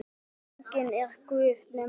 Enginn er guð nema Guð.